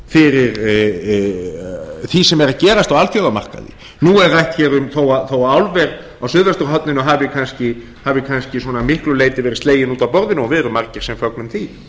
fyrir því sem er að gerast á alþjóðamarkaði nú er rætt um þó að álver á suðvesturhorninu hafi kannski að miklu leyti verið slegið út af borðinu og við erum margir sem fögnum því